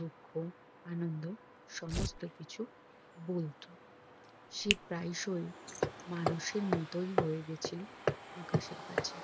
দুঃখ আনন্দ সমস্ত কিছু বলতো সে প্রায়শই মানুষের মতো হয়ে গিয়েছিল আকাশের কাছে